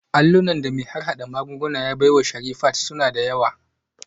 Allunan da mai harhada magunguna ya baiwa Sherifat suna da yawa